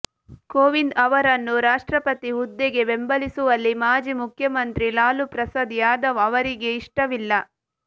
ಕೋವಿಂದ್ ಅವರನ್ನು ರಾಷ್ಟ್ರಪತಿ ಹುದ್ದೆಗೆ ಬೆಂಬಲಿಸುವಲ್ಲಿ ಮಾಜಿ ಮುಖ್ಯಮಂತ್ರಿ ಲಾಲು ಪ್ರಸಾದ್ ಯಾದವ್ ಅವರಿಗೆ ಇಷ್ಟವಿಲ್ಲ